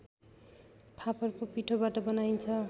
फापरको पिठोबाट बनाइन्छ